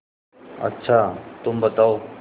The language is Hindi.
अच्छा तुम बताओ